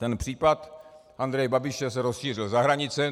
Ten případ Andreje Babiše se rozšířil za hranice.